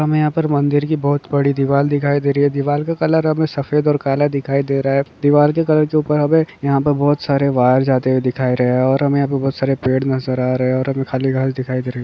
हमें यहाँ पर मंदिर की बहुत बड़ी दीवार दिखाई दे रही है दीवार का कलर हमें सफेद ओर काला दे रहा है और दीवार के कलर के ऊपर हमें बहुत सारे वायर जाती दिखाई दे रहे है और यहाँ पर हमें बहुत सारे पेड़ नजर आ रहे है और हमें बहुत सारे खाली घास दिखाई दे रहा है।